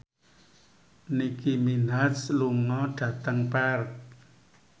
Nicky Minaj lunga dhateng Perth